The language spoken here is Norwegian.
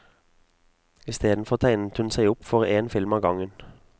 Istedenfor tegnet hun seg opp for en film av gangen.